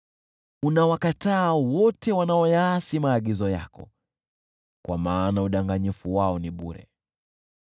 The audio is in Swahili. Unawakataa wote wanaoyaasi maagizo yako, kwa maana udanganyifu wao ni bure.